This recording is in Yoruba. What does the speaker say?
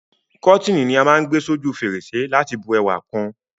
Kọ́tíni ni á má n gbé s'óju fèrèsé láti bu ẹwà kun